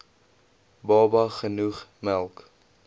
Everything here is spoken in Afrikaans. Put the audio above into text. baba genoeg melk